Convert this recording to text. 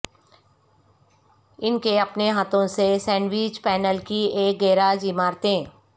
ان کے اپنے ہاتھوں سے سینڈوچ پینل کی ایک گیراج عمارتیں